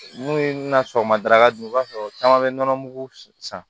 N'u ye n na sɔgɔmada dun i b'a sɔrɔ caman bɛ nɔnɔmugu san